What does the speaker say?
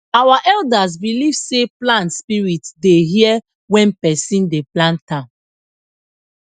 our elders believe sey plant spirit dey hear when person dey plant am